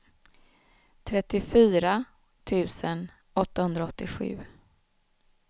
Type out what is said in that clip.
trettiofyra tusen åttahundraåttiosju